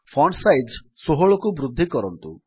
font size ୧୬କୁ ବୃଦ୍ଧି କରନ୍ତୁ